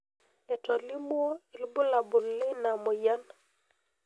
Etolimuo ilbulabul leina moyian.